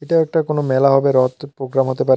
এটা একটা কোনো মেলা হবে রথ প্রোগ্রাম হতে পারে।